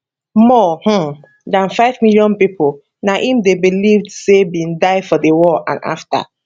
more um dan five million pipo na im dey believed say bin die for di war and afta